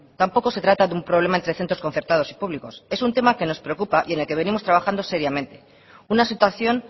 tampoco se trata de un problema entre centros concertados y públicos es un tema que nos preocupa y en el que venimos trabajando seriamente una situación